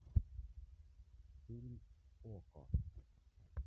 фильм окко